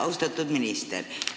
Austatud minister!